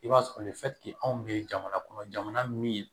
I b'a sɔrɔ anw bɛ jamana kɔnɔ jamana min